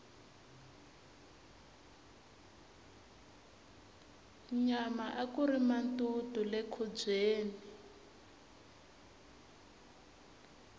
nyama akuri matutu le nkhubyeni